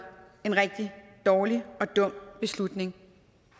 en rigtig dårlig og dum beslutning